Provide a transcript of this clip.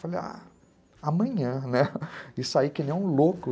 Falei, ah... amanhã, né, e saí que nem um louco.